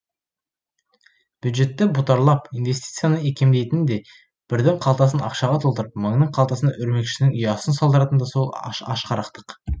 бюджетті бұтарлап инвестицияны икемдейтін де бірдің қалтасын ақшаға толтырып мыңның қалтасына өрмекшінің ұясын салдыратын да сол ашқарақтық